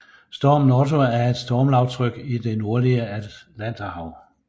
Stormen Otto er et stormlavtryk i det nordlige Atlanterhav